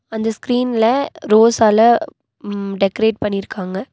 அந்த ஸ்கிரீன்ல ரோஸால ம்ம் டெக்ரேட் பண்ணிருக்காங்க.